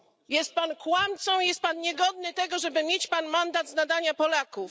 Jest pan kłamcą i jest pan niegodny tego żeby mieć mandat z nadania Polaków.